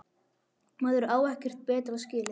Maður á ekkert betra skilið.